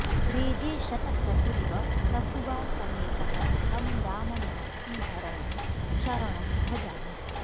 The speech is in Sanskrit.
रेजे शतक्रतुरिव प्रसुवा समेतः तं राममार्तिहरणं शरणं भजामि